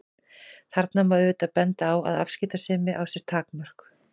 Þarna má auðvitað benda á að afskiptasemi á sér takmörk.